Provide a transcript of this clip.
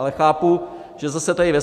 Ale chápu, že zase tady ve